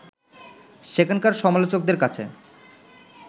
সেখানকার সমালোচকদের কাছে